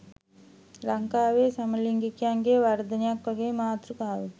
"ලංකාවේ සමලිංගිකයන්ගේ වර්ධනයක්" වගේ මාතෘකාවකින්.